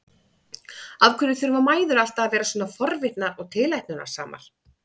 Af hverju þurfa mæður alltaf að vera svona forvitnar og tilætlunarsamar?